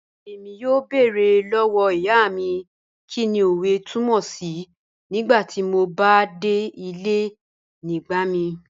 Ẹ̀mí yọ̀ọ́ bẹ̀ẹ̀rẹ̀ lọ́wọ́ ìyá mi kíni ọ̀wẹ̀ tùmọ̀ sí̀ nígbàtí mò bá dẹ̀ ilẹ̀ nígbàmìí